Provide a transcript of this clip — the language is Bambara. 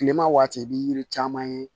Kilema waati i bi yiri caman ye